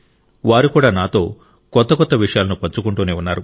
వారు కూడా నాతో కొత్త కొత్త విషయాలను పంచుకుంటూనే ఉన్నారు